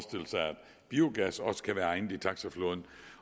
biogas også kan være egnet i taxaflåden